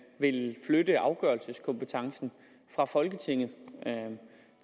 vil flytte afgørelseskompetencen fra folketinget